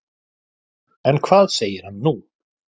En hvað segir hann nú?